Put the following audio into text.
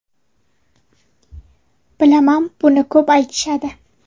Bilaman, buni ko‘p aytishadi.